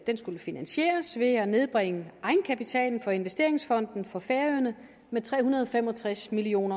skulle finansieres ved at nedbringe egenkapitalen for investeringsfonden for færøerne med tre hundrede og fem og tres million